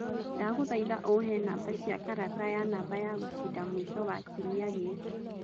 ndagũthaĩtha ũhe namba cia karata ya namba ya gũcinda mũĩco wa kĩumĩa gĩkĩ